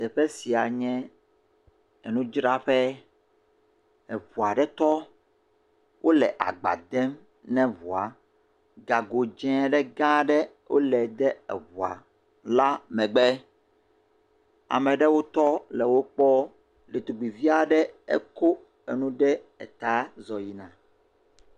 Teƒe sia nye enudzraƒe, eŋua ɖe tɔ, wole agba dem na ŋua, gago dze ɖe gã ɖe wole de eŋua la megbe, ame ɖewo tɔ le wo kpɔm, ɖetugbuivi aɖe ekɔ enu ɖe ta zɔ yina